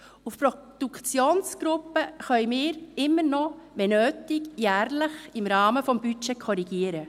Wir können immer noch, wenn nötig, jährlich im Rahmen des Budgets korrigieren.